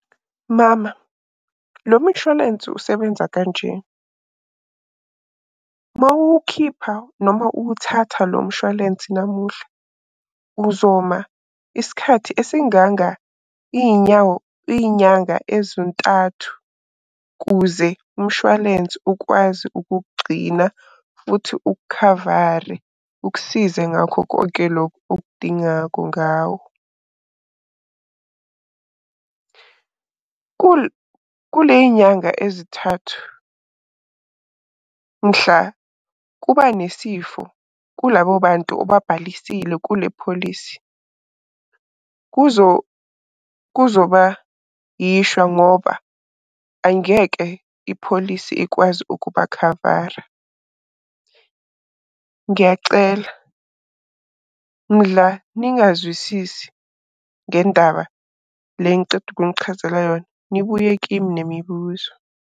Mama, lo mshwalensi usebenza kanje, mawuwukhipha noma uwuthatha lo mshwalense namuhla uzoma isikhathi esinganga iy'nyawo, iy'nyanga ezintathu kuze umshwalense ukwazi ukukugcina futhi ukukhavare ukusize ngakho konke lokhu okudingako ngawo. Kule yinyanga ezithathu mhla kuba nesifo kulabo bantu obabhalisile kule pholisi, kuzoba yishwa ngoba angeke ipholisi ikwazi ukubakhavara. Ngiyacela mdla ningazwisisi ngendaba le engiceda ukunichazela yona, nibuye kimi nemibuzo.